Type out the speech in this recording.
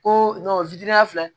Ko fitinin filɛ